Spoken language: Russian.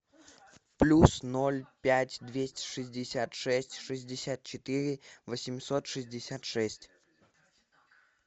плюс ноль пять двести шестьдесят шесть шестьдесят четыре восемьсот шестьдесят шесть